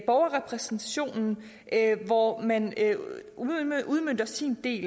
borgerrepræsentationen hvor man udmønter sin del